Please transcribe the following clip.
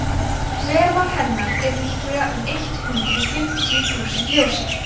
þvermál hennar er líklega um eitt hundruð fimmtíu þúsund ljósár